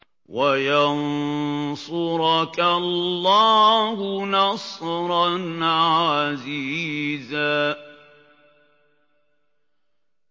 وَيَنصُرَكَ اللَّهُ نَصْرًا عَزِيزًا